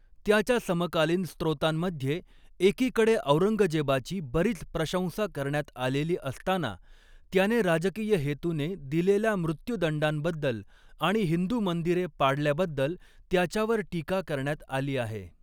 त्याच्या समकालीन स्त्रोतांमध्ये एकीकडे औरंगजेबाची बरीच प्रशंसा करण्यात आलेली असताना, त्याने राजकीय हेतूने दिलेल्या मृत्युदंडांबद्दल आणि हिंदू मंदिरे पाडल्याबद्दल त्याच्यावर टीका करण्यात आली आहे.